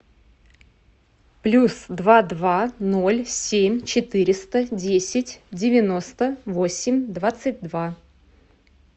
плюс два два ноль семь четыреста десять девяносто восемь двадцать два